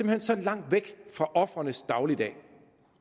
hen så langt væk fra ofrenes dagligdag